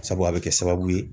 Sabu a bɛ kɛ sababu ye